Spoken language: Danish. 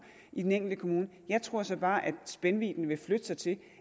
i den enkelte kommune jeg tror så bare at spændvidden ville flytte sig til